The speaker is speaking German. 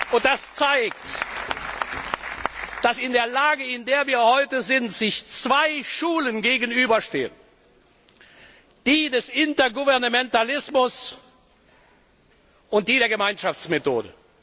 Und das zeigt, dass in der Lage, in der wir heute sind, sich zwei Schulen gegenüberstehen die des Intergouvernementalismus und die der Gemeinschaftsmethode.